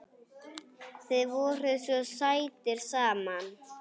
Þið voruð svo sætir saman.